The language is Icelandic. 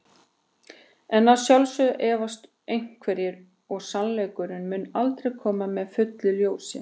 En að sjálfsögðu efast einhverjir og sannleikurinn mun aldrei koma að fullu í ljós.